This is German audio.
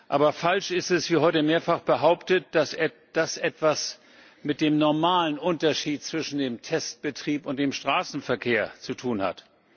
Aber falsch ist, wie heute mehrfach behauptet wurde, dass das etwas mit dem normalen Unterschied zwischen dem Testbetrieb und dem Betrieb im Straßenverkehr zu tun hat.